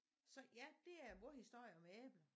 Så ja det er vore historie om æbler